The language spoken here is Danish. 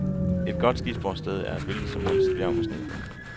Et godt skisportssted er et hvilket som helst bjerg med sne på.